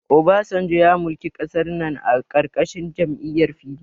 Obasanjo ya mulki ƙasar nan a ƙarƙashin jam'iyyar PDP.